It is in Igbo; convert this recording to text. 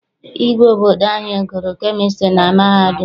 Igwe obodo anyị gụrụ kemịstri na mahadum.